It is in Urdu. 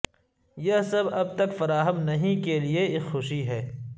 یہ سب اب تک فراہم نہیں کے لئے ایک خوشی ہے